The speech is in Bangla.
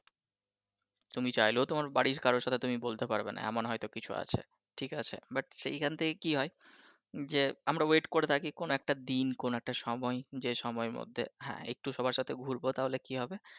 তুমি চাইলেও তোমার বাড়ির কারোর সাথে তুমি বলতে পারবেনা এমন হয়তো কিছু আছে but সেইখান থেকে কি হয় আমরা wait করে থাকি কোন একটা দিন কোন একটা সময় যে সময়ের মধ্যে হ্যাঁ একটু সবার সাথে ঘুরবো তাহলে কি হবে